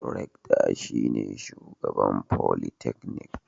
Rectar shine shugaban folytecnik.